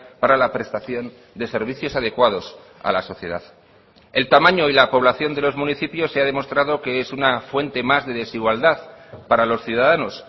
para la prestación de servicios adecuados a la sociedad el tamaño y la población de los municipios se ha demostrado que es una fuente más de desigualdad para los ciudadanos